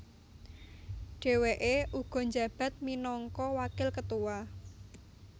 Dheweke uga njabat minangka wakil ketua